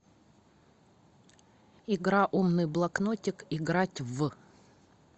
игра умный блокнотик играть в